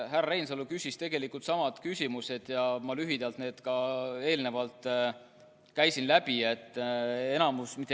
Härra Reinsalu küsis tegelikult samad küsimused ja ma lühidalt käisin need ka läbi.